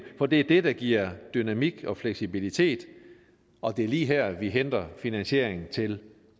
for det er det der giver dynamik og fleksibilitet og det er lige her vi henter finansieringen til